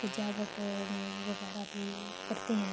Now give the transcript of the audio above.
سجاوٹ م وگیرہ بھی کرتے ہے۔